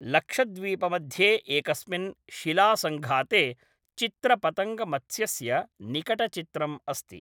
लक्षद्वीपमध्ये एकस्मिन् शिलासङ्घाते चित्रपतङ्गमत्स्यस्य निकटचित्रम् अस्ति।